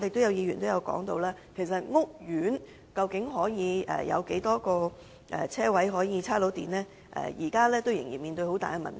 有議員質疑屋苑究竟可以提供多少個充電車位，這仍然是一個大問題。